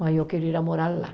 Mas eu quero ir morar lá.